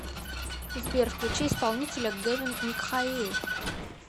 сбер включи исполнителя гэвин михаил